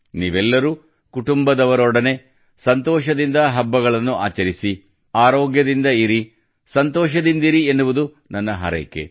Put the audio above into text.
ನೀವೆಲ್ಲರೂ ಕುಟುಂಬದವರೊಡನೆ ಸಂತೋಷದಿಂದ ಹಬ್ಬಗಳನ್ನು ಆಚರಿಸಿ ಆರೋಗ್ಯದಿಂದ ಇರಿ ಸಂತೋಷದಿಂದಿರಿ ಎನ್ನುವುದು ನನ್ನ ಹಾರೈಕೆ